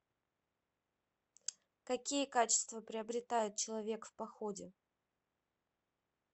какие качества приобретает человек в походе